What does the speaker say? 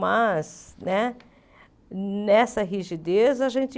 Mas, né nessa rigidez, a gente